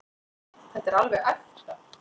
Þetta er alveg ekta.